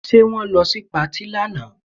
Ṣe wọ́n lọ sí patí lánàá?